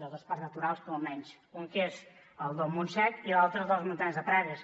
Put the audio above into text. de dos parc naturals almenys un que és el del montsec i l’altre el de les muntanyes de prades